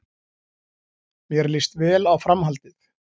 Mér líst vel á framhaldið